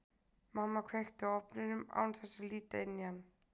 Mamma kveikti á ofninum án þess að líta inn í hann.